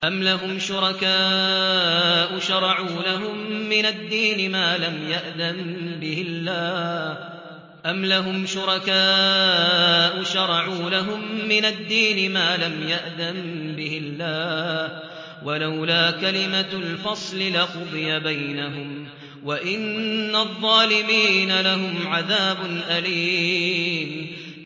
أَمْ لَهُمْ شُرَكَاءُ شَرَعُوا لَهُم مِّنَ الدِّينِ مَا لَمْ يَأْذَن بِهِ اللَّهُ ۚ وَلَوْلَا كَلِمَةُ الْفَصْلِ لَقُضِيَ بَيْنَهُمْ ۗ وَإِنَّ الظَّالِمِينَ لَهُمْ عَذَابٌ أَلِيمٌ